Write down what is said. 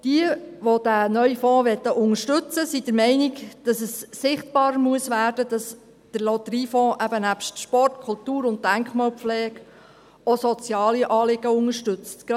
Diejenigen, die den neuen Fonds unterstützen wollen, sind der Meinung, dass es sichtbar werden muss, dass der Lotteriefonds eben nebst Sport, Kultur und Denkmalpflege auch soziale Anliegen unterstützt.